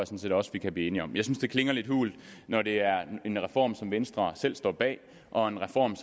set også vi kan blive enige om jeg synes det klinger lidt hult når det er en reform som venstre selv står bag og en reform